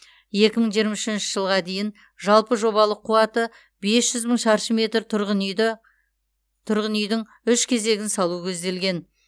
екі мың жиырма үшінші жылға дейін жалпы жобалық қуаты бес жүз мың шаршы метр тұрғын үйді тұрғын үйдің үш кезегін салу көзделген